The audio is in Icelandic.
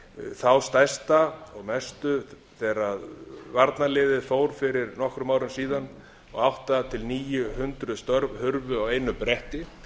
þá stærsta og mestu þegar varnarliðið fór fyrir nokkrum árum síðan og átta hundruð til níu hundruð störf hurfu á einu bretti